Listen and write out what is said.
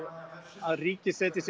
að ríki setji sér